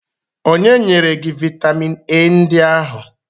Onye nyere gị vitamin A ndị ahụ?